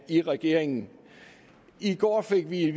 i regeringen i går fik vi